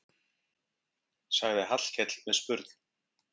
sagði Hallkell með spurn.